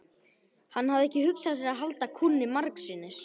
Hann hafði ekki hugsað sér að halda kúnni margsinnis.